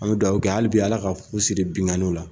An bi dugawu kɛ hali bi ala ka fu siri binkanniw la